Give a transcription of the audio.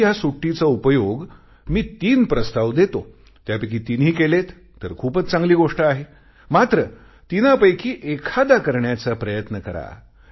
तुम्ही या सुट्टीचा उपयोग मी तीन प्रस्ताव देतो त्यापैकी तिन्ही केलेत तर खूपच चांगली गोष्ट आहे मात्र तीनापैकी एखादा करण्याचा प्रयत्न करा